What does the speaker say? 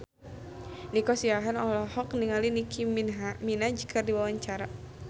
Nico Siahaan olohok ningali Nicky Minaj keur diwawancara